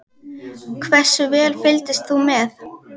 Hversu vel fylgdist þú með?